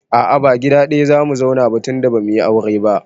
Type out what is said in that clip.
A'a ba gida ɗaya zamu zauna ba tunda bamuyi aure ba